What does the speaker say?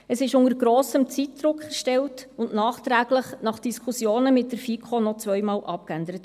Es wurde unter grossem Zeitdruck erstellt und nachträglich, nach Diskussionen mit der FiKo, noch zweimal abgeändert.